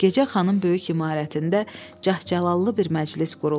Gecə xanın böyük imarətində cəhcəlallı bir məclis qurulmuşdu.